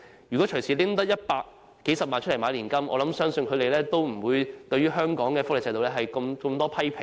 如果隨時可以動用100萬元購買年金，我相信他們也不會對香港的福利制度有這麼多批評。